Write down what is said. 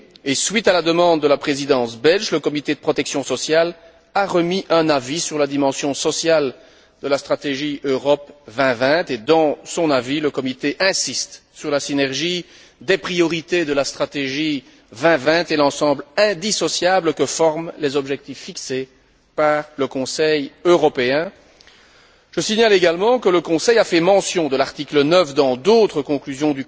Et, suite à la demande de la Présidence belge, le comité de protection sociale a remis un avis sur la dimension sociale de la stratégie Europe 2020, dans lequel il insiste sur la synergie des priorités de la stratégie 2020 et l'ensemble indissociable que forment les objectifs fixés par le Conseil européen. Je signale également que le Conseil a fait mention de l'article 9 dans d'autres conclusions